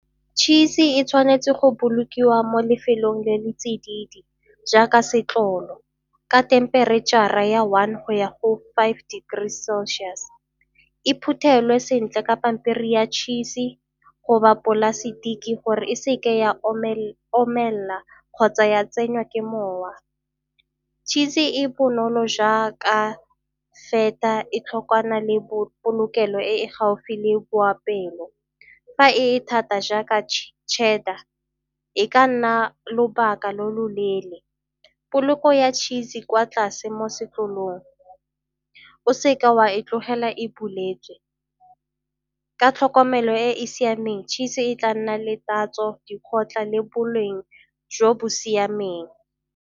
Tšhisi e tshwanetse go bolokiwa mo lefelong le le tsididi jaaka setlolo ka themperetšhara ya one go ya go five Degrees Celsius. E phuthelwe sentle ka pampiri ya tšhisi goba polasetike gore e seke ya omelela kgotsa ya tsenywa ke mowa. Tšhisi e bonolo jaaka e thokwana le bo polokelo e e gaufi le boapeelo. Fa e thata jaaka Cheddar e ka nna lobaka lo loleele, poloko ya tšhisi kwa tlase mo sekolong, o seke wa e tlogela e bulwetse. Ka tlhokomelo e e siameng tšhisi e tla nna le tatso, di kgotla le boleng jo bo siameng.